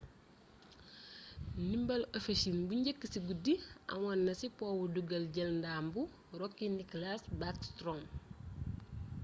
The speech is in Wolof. ndimbal ovechkin bu njëkk ci guddi amoon na ci powu duggal jël ndam bu rookie nicklas backstrom